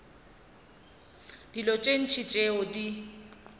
dilo tše ntši tšeo di